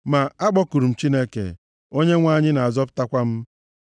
Ma akpọkuru m Chineke, Onyenwe anyị na-azọpụtakwa m.